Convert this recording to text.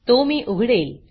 तो मी उघडेल